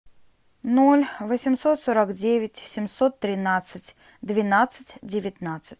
ноль восемьсот сорок девять семьсот тринадцать двенадцать девятнадцать